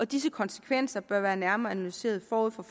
disse konsekvenser bør være nærmere analyseret forud for